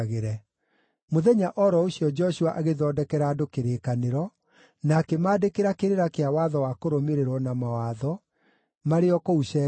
Mũthenya o ro ũcio Joshua agĩthondekera andũ kĩrĩkanĩro, na akĩmandĩkĩra kĩrĩra kĩa watho wa kũrũmĩrĩrwo na mawatho, marĩ o kũu Shekemu.